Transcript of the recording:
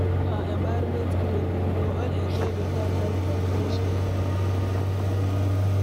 If our environment clean, we go all enjoy beta health and fresh air